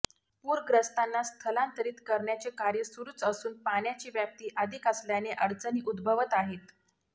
पूरग्रस्तांना स्थलांतरीत करण्याचे कार्य सुरूच असून पाण्याची व्याप्ती अधिक असल्याने अडचणी उद्भवत आहेत